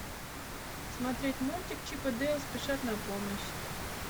смотреть мультик чип и дейл спешат на помощь